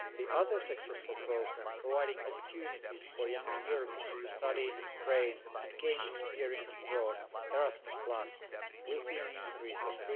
The other successful programme, providing opportunities for young Europeans to study, train and gain experience abroad, Erasmus, will see an increase of